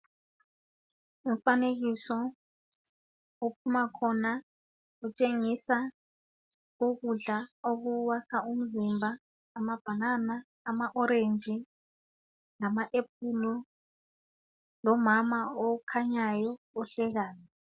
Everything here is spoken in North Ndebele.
Umfanekiso ophumakhona utshengisa ukudla okuwakha umzimba, amabhanana, ama- orenji, lama-aphulo. Lomama okhanyayo, ohlekayo.